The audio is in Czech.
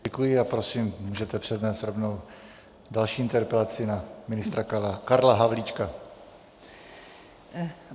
Děkuji a prosím, můžete přednést rovnou další interpelaci na ministra Karla Havlíčka.